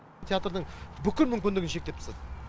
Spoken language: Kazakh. театрдың бүкіл мүмкіндігін шектеп тастады